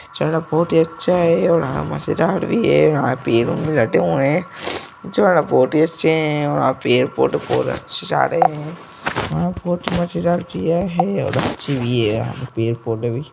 जगह बहुत हीअच्छा है और मजेदार भी है और ये यहाँ पे लोग हटे हुए है। जगह बहुत ही अच्छी है फोटो बहोत ही अच्छे आ रहे है --